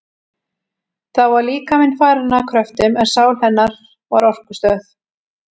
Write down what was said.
Þá var líkaminn farinn að kröftum, en sál hennar var orkustöð.